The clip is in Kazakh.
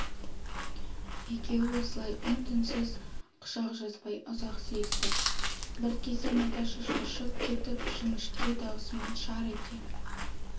екеуі осылай үнсіз-түнсіз құшақ жазбай ұзақ сүйісті бір кезде наташа шошып кетіп жіңішке даусымен шар ете